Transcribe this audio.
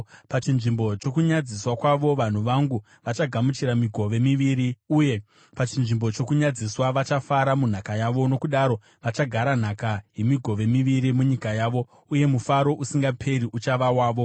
Pachinzvimbo chokunyadziswa kwavo vanhu vangu vachagamuchira migove miviri, uye pachinzvimbo chokunyadziswa vachafara munhaka yavo; nokudaro vachagara nhaka yemigove miviri munyika yavo, uye mufaro usingaperi uchava wavo.